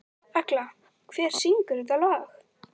Agla, hver syngur þetta lag?